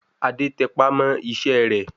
Adé tẹpá mọ́ iṣẹ́ rẹ̀